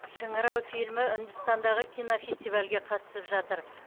шыңырау фильмі үндістандағы кинофестивальге қатысып жатыр